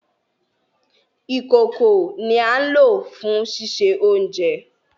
Ìkòko ni à n lo fùn ṣiṣe ounjẹ.